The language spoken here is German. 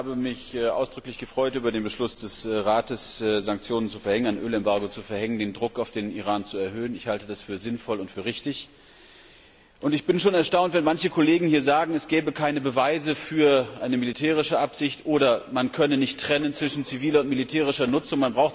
Ich habe mich ausdrücklich über den Beschluss des Rates, Sanktionen zu verhängen, ein Ölembargo zu verhängen und den Druck auf den Iran zu erhöhen, gefreut. Ich halte das für sinnvoll und für richtig, und ich bin erstaunt, wenn manche Kollegen sagen, es gäbe keine Beweise für eine militärische Absicht oder man könne nicht trennen zwischen ziviler und militärischer Nutzung.